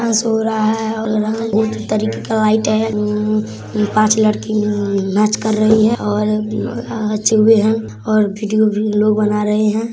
Dance हों रहा है और रंग तरीके का लाइट है। उम्म उम्म पांच लड़की उम्म्म नाच कर रही है और अ चूहे हैं और वीडियो लोग बना रहे हैं ।